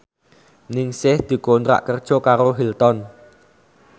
Ningsih dikontrak kerja karo Hilton